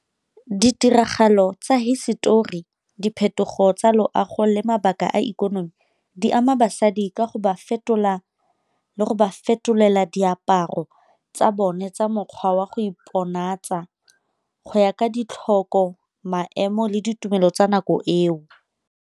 Ditiragalo tsa hisetori, diphetogo tsa loago, le mabaka a ikonomi, di ama basadi ka go ba fetola le go ba fetolela diaparo tsa bone tsa mokgwa wa go iponatsa go ya ka ditlhoko, maemo le ditumelo tsa nako eo.